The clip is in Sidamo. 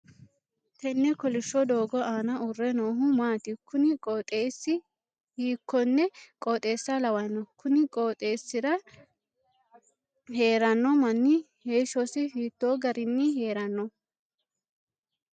Tenne kolisho doogo aanna uure noohu maati? Kunni qooxeesi hiikonne qooxeessa lawano? Kunni qooxeesira heeranno manni heeshosi hiitoo garinni heerano?